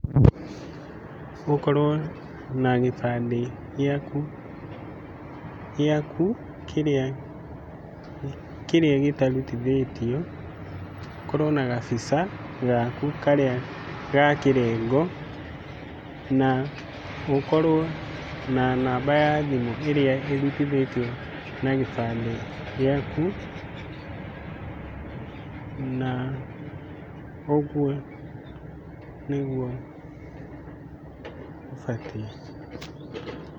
Ũkorwo na gĩbandĩ gĩaku, gĩaku kĩrĩa, kĩrĩa gĩtarutithĩtio, ũkorwo na gabica gaku karĩa a kĩrengo na ũkorwo na namba ya thimũ ĩrĩa ĩrutithĩtio na gĩbandĩ gĩaku. Na ũguo nĩguo ũbatiĩ.